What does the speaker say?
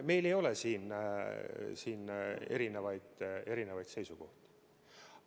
Meil ei ole siin erinevaid seisukohti.